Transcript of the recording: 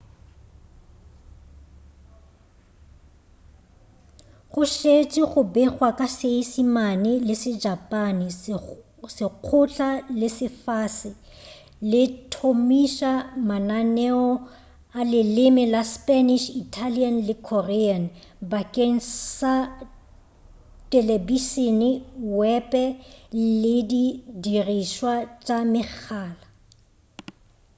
go šetše go begwa ka seisemane le sejapane lekgotla la lefase le thomiša mananeo a leleme la spanish italian le korean bakeng sa telebišene wepe le di dirišwa tša megala